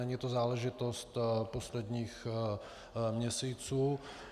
Není to záležitost posledních měsíců.